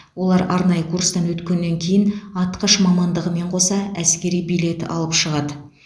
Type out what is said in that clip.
олар арнайы курстан өткеннен кейін атқыш мамандығымен қоса әскери билет алып шығады